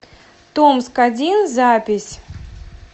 томск один запись